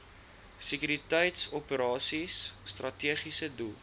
sekuriteitsoperasies strategiese doel